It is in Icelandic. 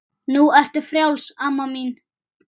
Nú ertu frjáls amma mín.